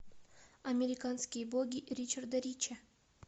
американские боги ричарда рича